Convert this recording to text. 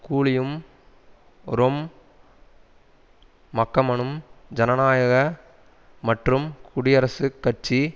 கூலியும் ரொம் மக்கமனும் ஜனநாயக மற்றும் குடியரசுக் கட்சி